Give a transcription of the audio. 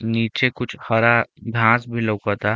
नीचे कुछ हरा घास भी लउकता।